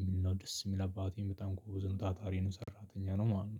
የሚል ነው። ደስ የሚል አባቴን በጣም ጎበዝን ታታሪን ሰራተኛ ነው ማለት ነው